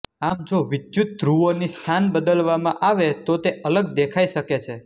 આમ જો વિદ્યુતધ્રુવોની સ્થાન બદલવામાં આવે તો તે અલગ દેખાઇ શકે છે